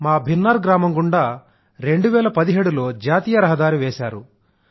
మా భిన్నర్ గ్రామం గుండా 2017 లో జాతీయ రహదారిని వేశారు